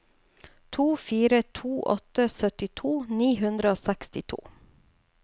to fire to åtte syttito ni hundre og sekstito